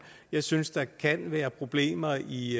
jeg synes der kan være problemer i